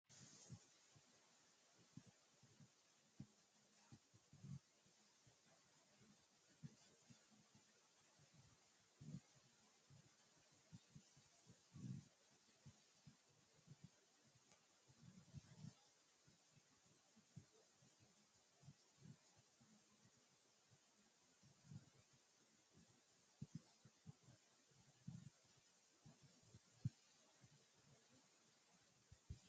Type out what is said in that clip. Konne darga leelanno manooti aannsa uddire leelannohu addi addi danini loosamino uduuni addi addiho badhensaani afamanno kalaqamu dubbi mannahi aano horo lowote